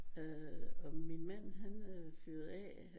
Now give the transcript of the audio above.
Øh og min mand fyrede af